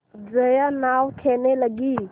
जया नाव खेने लगी